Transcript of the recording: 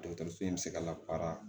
Dɔkɔtɔrɔso in bi se ka labaara